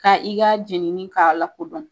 Ka i ka jɛnini k'a la kodɔn.